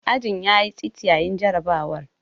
Ajin ya yi tsit yayin jarrabawar.